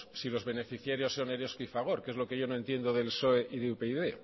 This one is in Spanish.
si lo beneficiarios son eroski y fagor que es lo que yo no entiendo del psoe y de upyd